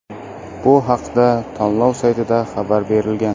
Bu haqda tanlov saytida xabar berilgan.